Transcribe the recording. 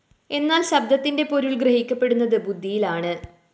എന്നാല്‍ ശബ്ദത്തിന്റെ പൊരുള്‍ ഗ്രഹിക്കപ്പെടുന്നത് ബുദ്ധിയിലാണ്